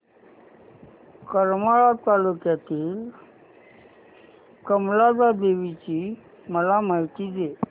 करमाळा तालुक्यातील कमलजा देवीची मला माहिती दे